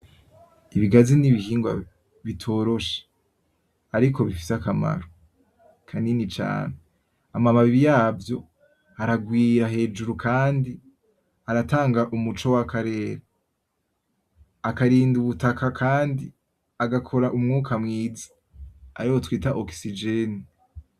Ibigazi ni ibihingwa bitoroshe ariko bifise akamaro kanini cane, amababi yavyo ararwira hejuru kandi aratanga umuco w'akarere , akarinda ubutaka kandi agakora umwuka mwiza, ariwe twita "oxygène".